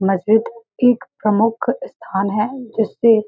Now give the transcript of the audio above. महजिद ठीक प्रमुख स्थान है जिससे --